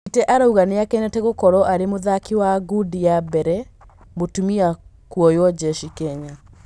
Mbite arauga nĩ akenete gũkorwo arĩ mũthaki wa ngudi wa mbere mũtumia kuoywo jeshi Kenya.